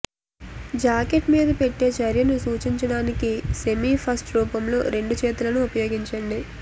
jacket మీద పెట్టే చర్యను సూచించడానికి సెమీ ఫస్ట్ రూపంలో రెండు చేతులను ఉపయోగించండి